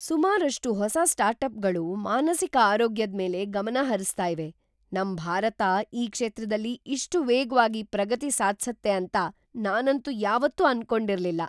ಸುಮಾರಷ್ಟು ಹೊಸ ಸ್ಟಾರ್ಟಪ್‌ಗಳು ಮಾನಸಿಕ ಆರೋಗ್ಯದ್ಮೇಲೆ ಗಮನ ಹರಿಸ್ತಾ ಇವೆ! ನಮ್ ಭಾರತ ಈ ಕ್ಷೇತ್ರದಲ್ಲಿ ಇಷ್ಟು ವೇಗ್ವಾಗಿ ಪ್ರಗತಿ ಸಾಧ್ಸತ್ತೆ ಅಂತ ನಾನಂತೂ ಯಾವತ್ತೂ ಅನ್ಕೊಂಡಿರ್ಲಿಲ್ಲ.